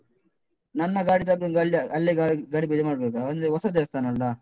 ನನ್ನ ಗಾಡಿ ತರ್ಬೇಕಾ, ಅಲ್ಲಿ ಅಲ್ಲೇ ಗಾಡಿ ಗಾಡಿ ಪೂಜೆ ಮಾಡ್ಬೇಕಾ? ಅಂದ್ರೆ ಹೊಸ ದೇವಸ್ಥಾನ ಅಲ್ಲಾ?